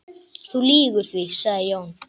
Þú lýgur því, sagði Jón.